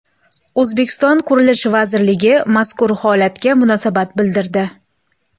O‘zbekiston Qurilish vazirligi mazkur holatga munosabat bildirdi .